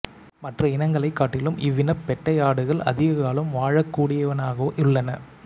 மற்ற இனங்களைக் காட்டிலும் இவ்வினப் பெட்டை ஆடுகள் அதிக காலம் வாழக்கூடியனவாகவும் உள்ளன